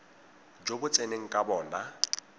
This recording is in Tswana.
jo bo tseneng ka bona